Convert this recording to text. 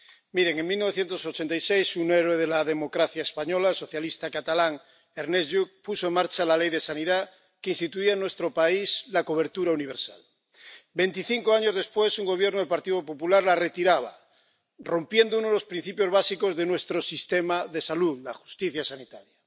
Miren en 1986, un héroe de la democracia española, socialista, catalán, Ernest Lluch, puso en marcha la Ley de Sanidad que instituye en nuestro país la cobertura universal. Veinticinco años después, un Gobierno del Partido Popular la retiraba, rompiendo uno de los principios básicos de nuestro sistema de salud, la justicia sanitaria.